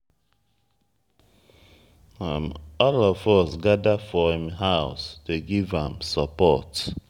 all of us gather for im house dey give am support.